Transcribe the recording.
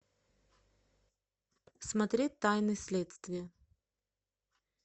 смотреть тайны следствия